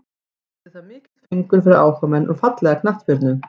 Yrði það mikill fengur fyrir áhugamenn um fallega knattspyrnu.